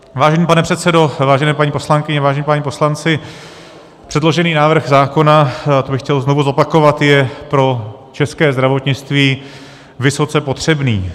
Vážený pane předsedo, vážené paní poslankyně, vážení páni poslanci, předložený návrh zákona, to bych chtěl znovu zopakovat, je pro české zdravotnictví vysoce potřebný.